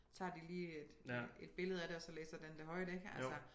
Tager de lige et et billede af det og så læser den det højt ik altså